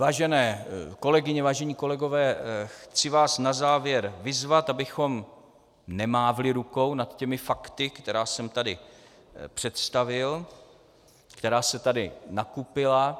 Vážené kolegyně, vážení kolegové, chci vás na závěr vyzvat, abychom nemávli rukou nad těmi fakty, které jsem tady představil, které se tady nakupily.